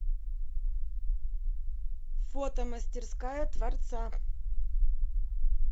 фото мастерская творца